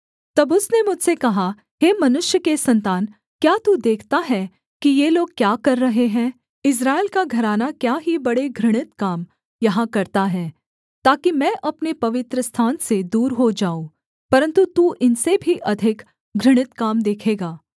तब उसने मुझसे कहा हे मनुष्य के सन्तान क्या तू देखता है कि ये लोग क्या कर रहे हैं इस्राएल का घराना क्या ही बड़े घृणित काम यहाँ करता है ताकि मैं अपने पवित्रस्थान से दूर हो जाऊँ परन्तु तू इनसे भी अधिक घृणित काम देखेगा